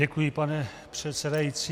Děkuji, pane předsedající.